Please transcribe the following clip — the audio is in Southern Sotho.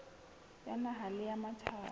ya naha le ya matjhaba